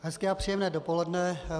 Hezké a příjemné dopoledne.